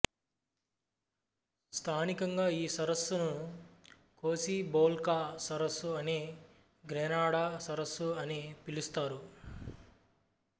స్థానికంగా ఈ సరస్సును కోసిబోల్కా సరస్సు అని గ్రెనడా సరస్సు అని పిలుస్తారు